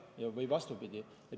Ja vastupidi.